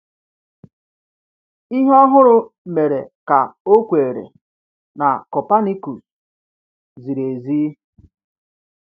Ihe ọ hụrụ mere ka o kweere na Copernicus ziri ezi.